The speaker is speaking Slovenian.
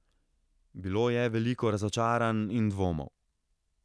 Bilo je veliko razočaranj in dvomov.